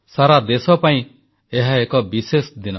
ସାରା ଦେଶ ପାଇଁ ଏହା ଏକ ବିଶେଷ ଦିନ